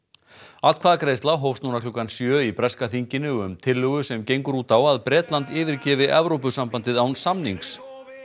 atkvæðagreiðsla hófst núna klukkan sjö í breska þinginu um tillögu sem gengur út á að Bretland yfirgefi Evrópusambandið án samnings